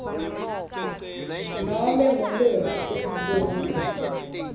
nobe ngumuphi umfundzi